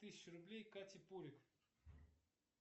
тысячу рублей кате пувик